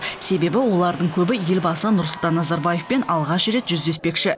себебі олардың көбі елбасы нұрсұлтан назарбаевпен алғаш рет жүздеспекші